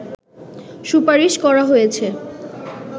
সুপারশি করা হয়েছে